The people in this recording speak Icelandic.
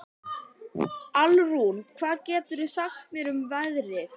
Alrún, hvað geturðu sagt mér um veðrið?